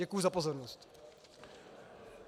Děkuju za pozornost.